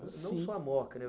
Não só a Moca,